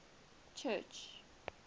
church